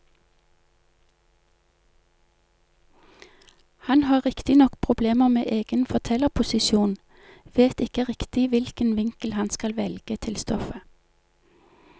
Han har riktignok problemer med egen fortellerposisjon, vet ikke riktig hvilken vinkel han skal velge til stoffet.